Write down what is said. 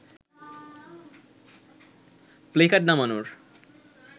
placard নামানোর